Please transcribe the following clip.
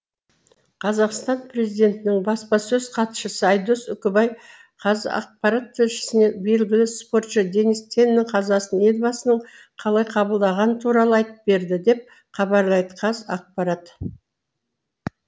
қазақстан президентінің баспасөз хатшысы айдос үкібай қазақпарат тілшісіне белгілі спортшы денис теннің қазасын елбасының қалай қабылдағаны туралы айтып берді деп хабарлайды қазақпарат